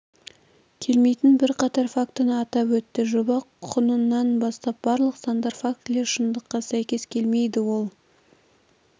келмейтін бірқатар фактіні атап өтті жоба құнынан бастап барлық сандар фактілер шындыққа сәйкес келмейді ол